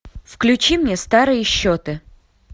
включи мне старые счеты